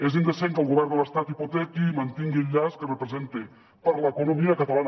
és indecent que el govern de l’estat hipotequi i mantingui el llast que representa per a l’economia catalana